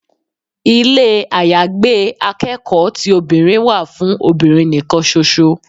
Ilé àyágbé akẹ́kọ̀ọ́ ti obìnrin wà fún obìnrin nì kan ṣo ṣo.